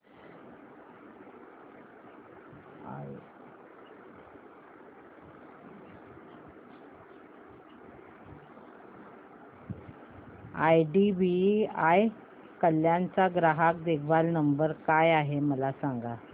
IDBI Kalyan चा ग्राहक देखभाल नंबर काय आहे मला सांगा